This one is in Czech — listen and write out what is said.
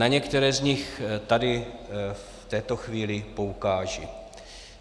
Na některé z nich tady v této chvíli poukážu.